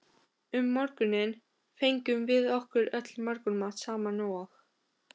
Um morguninn fengum við okkur öll morgunmat saman og